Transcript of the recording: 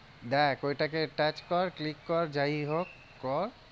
দেখ ওইটাকে touch কর click কর যাইহোক কর।